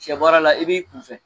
Sɛ baara la i b'i kun fɛ